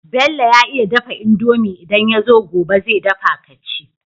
Bello ya iya dafa indomie idan yazo gobe ze dafa kaci